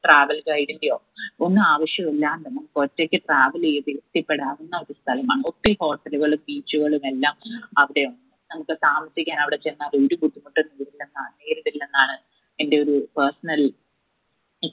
travel guide ഇന്റെയോ ഒന്നു ആവശ്യം ഇല്ലാതെ നമ്മുക്ക് ഒറ്റക്ക് travel എയ്ത എത്തിപ്പെടാവുന്ന ഒരു സ്ഥലമാണ് ഒത്തിരി hotel ഉകളും beach ഉകളും എല്ലാം അവിടെയുണ്ട് നമ്മുക്ക് താമസിക്കാൻ അവിടെ ചെന്നാൽ ഒരു ബുദ്ധിമുട്ടും എന്നാണ് എന്റെ ഒരു personal